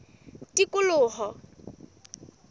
tikoloho